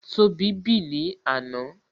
Tóbi bì ní àná